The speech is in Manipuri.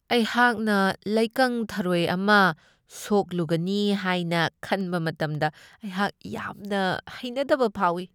ꯑꯩꯍꯥꯛꯅ ꯂꯩꯀꯪ ꯊꯔꯣꯏ ꯑꯃ ꯁꯣꯛꯂꯨꯒꯅꯤ ꯍꯥꯏꯅ ꯈꯟꯕ ꯃꯇꯝꯗ ꯑꯩꯍꯛ ꯌꯥꯝꯅ ꯍꯩꯅꯗꯕ ꯐꯥꯎꯢ ꯫